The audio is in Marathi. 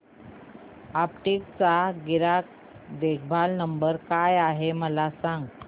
अॅपटेक चा ग्राहक देखभाल नंबर काय आहे मला सांग